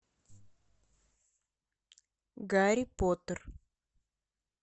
гарри поттер